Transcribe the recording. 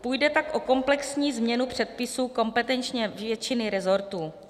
Půjde tak o komplexní změnu předpisů kompetenčně většiny resortů.